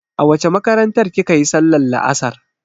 A wace makarantar kika yi sallar la'asar?